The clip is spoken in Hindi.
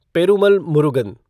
पेरुमल मुरुगन